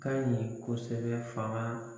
Ka ɲi kosɛbɛ fanga